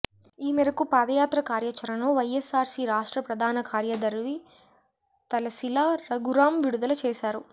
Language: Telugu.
ఈ మేరకు పాదయాత్ర కార్యాచరణను వైఎస్సార్సీ రాష్ట్ర ప్రధాన కార్యదర్వి తలశిల రఘురాం విడుదల చేశారు